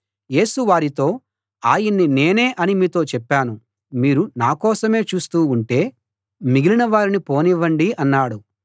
యేసు వారితో ఆయన్ని నేనే అని మీతో చెప్పాను మీరు నా కోసమే చూస్తూ ఉంటే మిగిలిన వారిని వెళ్ళిపోనివ్వండి అన్నాడు